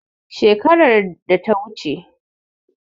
Shekarar data wuce